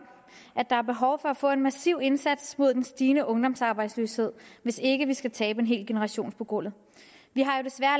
at der er behov for at få en massiv indsats mod den stigende ungdomsarbejdsløshed hvis ikke vi skal tabe en hel generation på gulvet vi har jo desværre